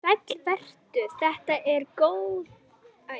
Sæll vertu, þetta eru góð spurning og þörf.